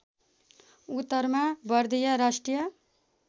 उत्तरमा बर्दिया राष्ट्रिय